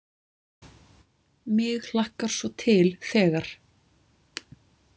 Mig hlakkar svo til þegar.